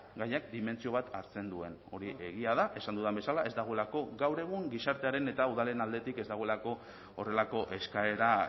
gaiak dimentsio bat hartzen duen hori egia da esan dudan bezala ez dagoelako gaur egun gizartearen eta udalen aldetik ez dagoelako horrelako eskaera